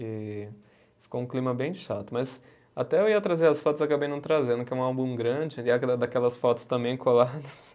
E ficou um clima bem chato, mas, até eu ia trazer as fotos, acabei não trazendo, porque é um álbum grande, daquelas fotos também coladas.